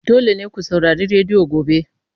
Dole ne ku saurari rediyo gobe!